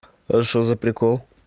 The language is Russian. ээ что за прикол